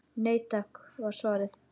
Nei takk var svarið.